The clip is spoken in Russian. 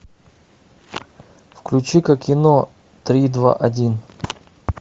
включи ка кино три два один